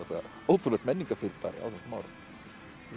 ótrúlegt menningarfyrirbæri á þessum árum